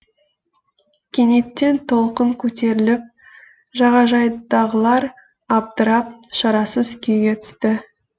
кенеттен толқын көтеріліп жағажайдағылар абдырап шарасыз күйге түсті